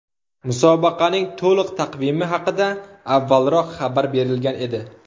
Musobaqaning to‘liq taqvimi haqida avvalroq xabar berilgan edi .